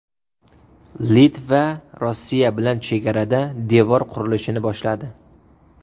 Litva Rossiya bilan chegarada devor qurilishini boshladi.